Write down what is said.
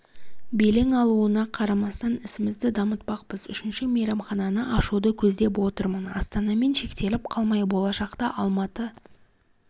белең алуына қарамастан ісімізді дамытпақпыз үшінші мейрамхананы ашуды көздеп отырмын астанамен шектеліп қалмай болашақта алматы